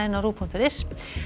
á rúv punktur is